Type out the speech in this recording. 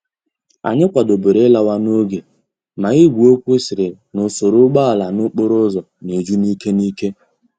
Anyi kwadoburu ilawa n'oge ma igwe okwu siri na usoro úgbòala n'okporo úzò na eju n'ike n'ike.